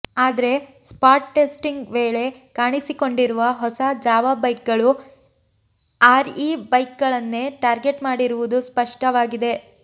ಆದ್ರೆ spot testing ವೇಳೆ ಕಾಣಿಸಿಕೊಂಡಿರುವ ಹೊಸ ಜಾವಾ ಬೈಕ್ಗಳು ಆರ್ಇ ಬೈಕ್ಗಳನ್ನೇ ಟಾರ್ಗೆಟ್ ಮಾಡಿರುವುದು ಸ್ಪಷ್ಟವಾಗಿದೆ